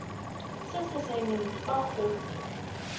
se se saenweng fa khopi